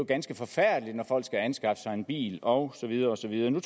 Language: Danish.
ganske forfærdeligt når folk skal anskaffe sig en bil og så videre og så videre